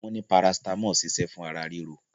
Wọn ní paracetamol ṣiṣẹ́ fún ara ríro